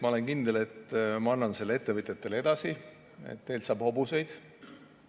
Ma olen kindel, et ma annan ettevõtjatele edasi selle, et teilt saab hobuseid.